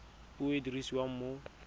puo e e dirisiwang mo